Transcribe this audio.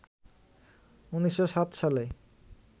১৯০৭ সালে